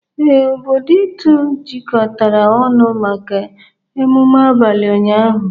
Ee, obodo Itu jikọtara ọnụ maka emume abalị ụnyaahụ.